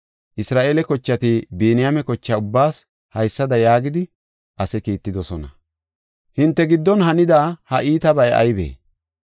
Isra7eele kochati Biniyaame kocha ubbaas haysada yaagidi ase kiittidosona; “Hinte giddon hanida ha iitabay aybee?